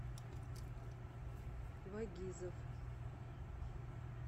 вагизов